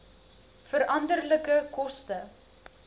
veranderlike koste